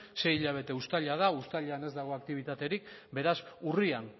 sei hilabete uztaila da uztailan ez dago aktibitaterik beraz urrian